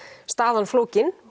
staðan flókin